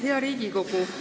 Hea Riigikogu!